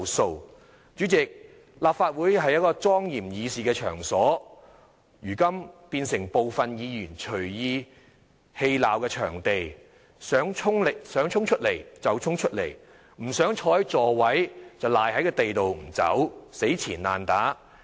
代理主席，立法會是一個莊嚴議事的場所，如今卻變成部分議員隨意嬉鬧的場地，想衝出來就衝出來，不想坐在座位，便賴在地上不離開，死纏爛打。